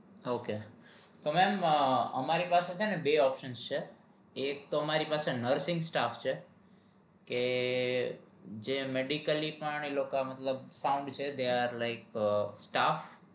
ok તો mem તમારે અમારી પાસે બે option છે એક તો અમારી પાસે nursing staff છે કે જે medically પણ ઈ લોકો મતલબ they are like staff